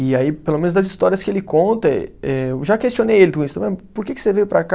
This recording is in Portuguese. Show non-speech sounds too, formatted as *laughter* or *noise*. E aí, pelo menos das histórias que ele conta, eh eu já questionei ele, *unintelligible* por que que você veio para cá?